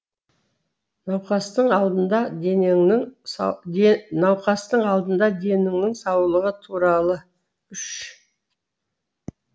науқастың алдында денеңнің науқастың алдында деніңнің саулығы туралы үш